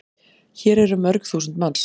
Hér eru mörg þúsund manns.